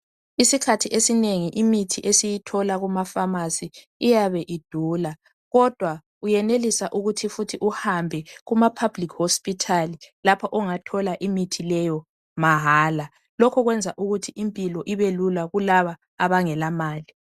Isikhathi esinengi imithi esiyithola kuma pharmacy iyabe idula kodwa uyenelisa ukuthi futhi uhambe kuma public hospital lapho ongathola imithi leyo mahala. Lokho kwenza ukuthi impilo ibelula kulabo abangelamali.